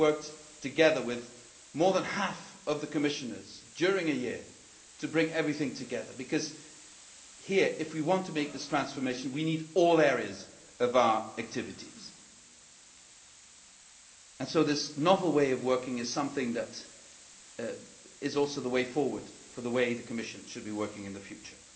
We have worked together with more than half of the Commissioners for a year to bring everything together because here, if we want to make this transformation, we need all areas of our activities. And so this novel way of working is something that is also the way forward the way the Commission should be working in the future.